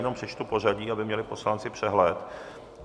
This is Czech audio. Jenom přečtu pořadí, aby měli poslanci přehled.